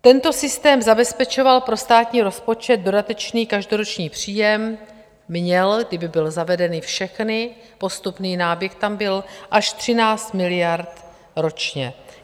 Tento systém zabezpečoval pro státní rozpočet dodatečný každoroční příjem - měl, kdyby byly zavedeny všechny, postupný náběh tam byl - až 13 miliard ročně.